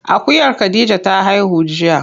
Akuyar khadija ta haihu jiya.